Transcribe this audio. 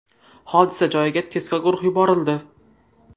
Hodisa joyiga tezkor guruh yuborildi.